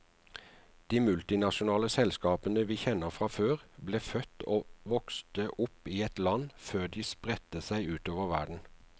De multinasjonale selskapene vi kjenner fra før, ble født og vokste opp i ett land før de spredte seg utover verden.